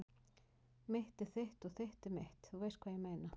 Mitt er þitt og þitt er mitt- þú veist hvað ég meina.